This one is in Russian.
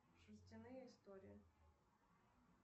шерстяные истории